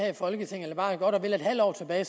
her i folketinget eller bare godt og vel et halvt år tilbage